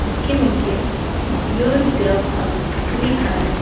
इसके नीचे your Grubhub लिखा है।